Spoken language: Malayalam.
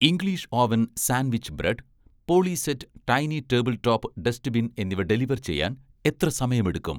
English oven' sandwich bread, 'polyset' tiny table top dustbin എന്നിവ ഡെലിവർ ചെയ്യാൻ എത്ര സമയമെടുക്കും?